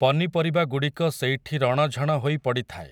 ପନିପରିବାଗୁଡ଼ିକ ସେଇଠି ରଣ ଝଣ ହୋଇ ପଡ଼ିଥାଏ ।